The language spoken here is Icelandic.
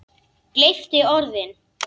Gleypti orðin.